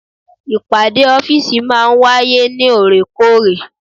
Ìpàdé ọ́fìsì maa ń wáyé ní òrèkóòrè